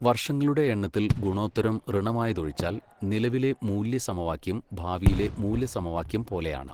വർഷങ്ങളുടെ എണ്ണത്തിൽ ഗുണോത്തരം ഋണമായതൊഴിച്ചാൽ നിലവിലെ മൂല്യസമവാക്യം ഭാവിയിലെ മൂല്യസമവാക്യം പോലെയാണ്.